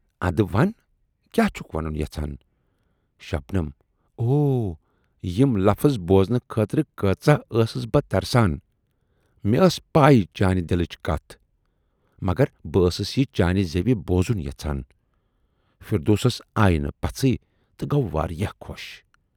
اَدٕ وَن! کیاہ چھُکھ وَنُن یَژھان۔ شبنم اوہ یِم لفٕظ بوٗزنہٕ خٲطرٕ کٲژاہ ٲسٕس بہٕ ترسان مےٚ ٲس پَے چانہِ دِلٕچ کتَھ، مگر بہٕ ٲسٕس یہِ چانہِ زیوِ بوٗزُن یَژھان۔ فردوسس آیہِ نہٕ پژھی تہٕ گَو واریاہ خۅش۔